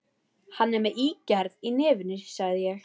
Hann er með ígerð í nefinu, sagði ég.